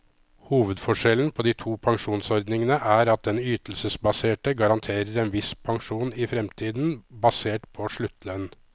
Hovedforskjellen på de to pensjonsordningene er at den ytelsesbaserte garanterer en viss pensjon i fremtiden, basert på sluttlønn.